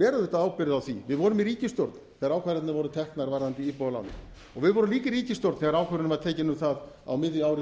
ber auðvitað ábyrgð á því við vorum í ríkisstjórn þegar ákvarðanir voru teknar varðandi íbúðalánin við vorum líka í ríkisstjórn þegar ákvörðun var tekin um það á miðju ári